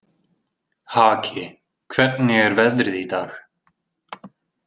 Haki, hvernig er veðrið í dag?